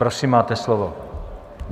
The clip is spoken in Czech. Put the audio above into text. Prosím, máte slovo.